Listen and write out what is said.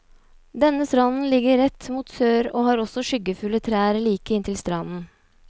Denne stranden ligger rett mot sør og har også skyggefulle trær like inntil stranden.